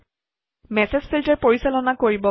message filter পৰিচালনা কৰিব পাৰি